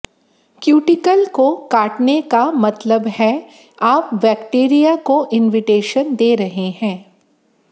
cuticle को काटने का मतलब है आप बैक्टीरिया को इनविटेशन दे रहे हैं